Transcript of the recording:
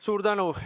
Suur tänu!